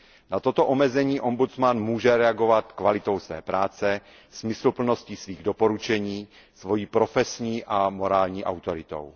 Na toto omezení ombudsman může reagovat kvalitou své práce, smysluplností svých doporučení, svou profesní a morální autoritou.